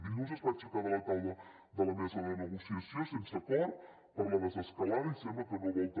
dilluns es va aixecar de la taula de la mesa de negociació sense acord per a la desescalada i sembla que no vol també